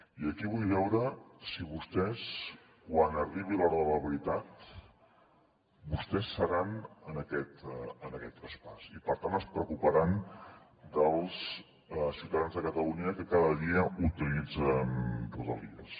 i aquí vull veure si vostès quan arribi l’hora de la veritat vostès seran en aquest traspàs i per tant es preocuparan dels ciutadans de catalunya que cada dia utilitzen rodalies